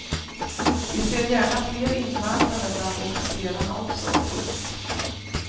Vi ser gärna fler invandrare bland officerarna också. punkt